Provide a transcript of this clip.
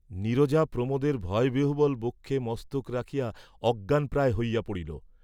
নীরজা প্রমোদের ভয়বিহ্বল বক্ষে মস্তক রাখিয়া অজ্ঞানপ্রায় হইয়া পড়িল।